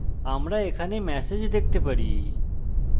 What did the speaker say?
আমরা এখানে ম্যাসেজ দেখতে পারি